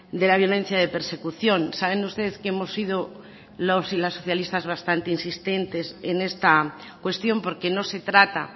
de la violencia de persecución saben ustedes que hemos sido los y las socialistas bastante insistentes en esta cuestión porque no se trata